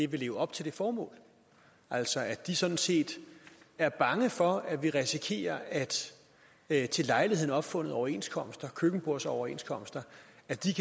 vil leve op til det formål altså at de sådan set er bange for at vi risikerer at til lejligheden opfundne overenskomster køkkenbordsoverenskomster